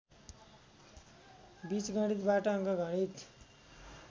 बिजगणितबाट अङ्कगणित